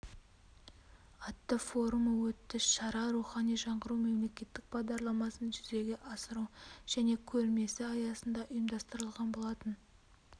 атты форумы өтті шара рухани жаңғыру мемлекеттік бағдарламасын жүзеге асыру және көрмесі аясында ұйымдастырылған болатын